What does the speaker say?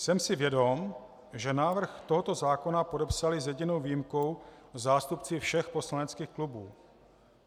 Jsem si vědom, že návrh tohoto zákona podepsali s jedinou výjimkou zástupci všech poslaneckých klubů.